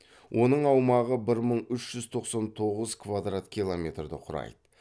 оның аумағы бір мың үш жүз тоқсан тоғыз квадрат километрді құрайды